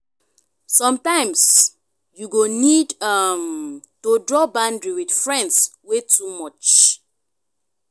sometimes you go need um to draw boundary with friends wey too much.